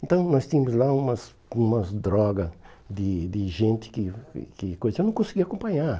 Então, nós tínhamos lá umas umas drogas de de gente que que coisa... Eu não conseguia acompanhar.